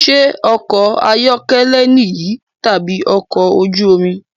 Ṣé ọkọ̀ ayọ́kẹ́lẹ́ niyi tabi ọkọ̀ ojú omi?